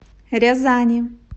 рязани